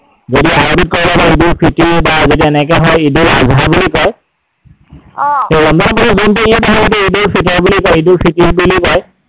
যদি আৰৱীত কয় ঈদ উল ফিটোৰ বা যদি এনেকৈ হয় ঈদ উল আধা বুলি কয়। সেই ৰমজানৰ পিছত যিটো ঈদ আহে সেইটোক ঈদ উল ফিটৰ বুলি কয়, ঈদ উল ফিটোৰ বুলি কয়।